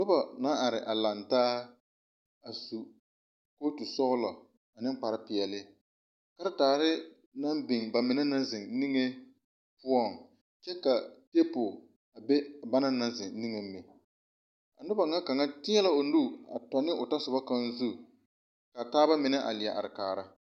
Nuba la arẽ a langtaa a su koɔti sɔglo ani kpare peɛle karitaare nang bing bameni nang zeng ninge puo kye ka tabol a be banna nang zeng ninge meng a nuba nga kanga teɛ la ɔ nu a tɔ ne ɔ tɔsoba kanga zu kaa taaba menne a leɛ arẽ kaara.